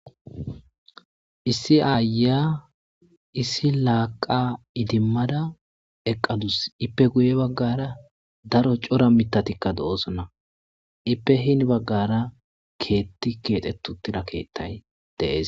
issi aaya issi laaqa idimmada eqqadus ippe guye baggara daro cora mitatikka do7osonna ippe hin baggara keetti keexetutirakettay dees